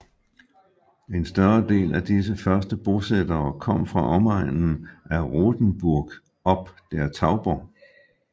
En større del af disse første bosættere kom fra omegnen af Rothenburg ob der Tauber